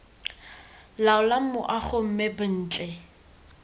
laolang moago mme b ntle